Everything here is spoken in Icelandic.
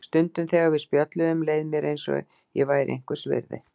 Stundum þegar við spjölluðum leið mér eins og ég væri einhvers virði.